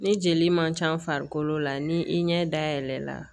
Ni jeli man ca farikolo la ni i ɲɛ da yɛlɛ la